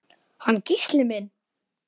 Hann Gísli minn?